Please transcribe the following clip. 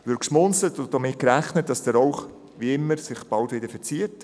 Wird geschmunzelt und damit gerechnet, dass sich der Rauch wie immer bald wieder verzieht?